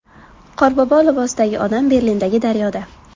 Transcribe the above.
Qorbobo libosidagi odam Berlindagi daryoda.